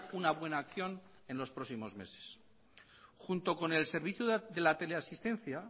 una buena acción en los próximos meses junto con el servicio de la teleasistencia